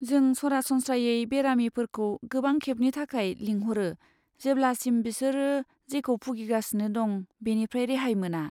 जों सरासनस्रायै बेरामिफोरखौ गोबां खेबनि थाखाय लिंहरो जेब्लासिम बिसोर जेखौ भुगिगासिनो दं बेनिफ्राय रेहाय मोना।